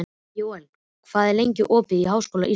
Jóel, hvað er lengi opið í Háskóla Íslands?